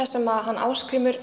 sem hann Ásgrímur